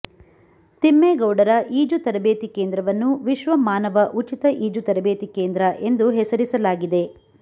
ತಿಮ್ಮೇಗೌಡರ ಈಜು ತರಬೇತಿ ಕೇಂದ್ರವನ್ನು ವಿಶ್ವ ಮಾನವ ಉಚಿತ ಈಜು ತರಬೇತಿ ಕೇಂದ್ರ ಎಂದು ಹೆಸರಿಸಲಾಗಿದೆ